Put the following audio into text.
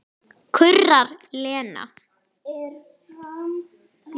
kurrar Lena.